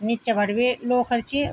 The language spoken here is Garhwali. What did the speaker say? निचा पर भी लोखर च।